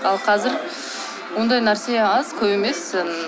ал қазір ондай нәрсе аз көп емес